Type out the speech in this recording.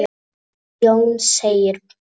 Jón segir: